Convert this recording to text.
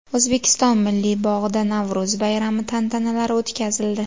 O‘zbekiston Milliy bog‘ida Navro‘z bayrami tantanalari o‘tkazildi .